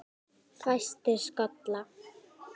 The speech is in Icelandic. Fæstir skollar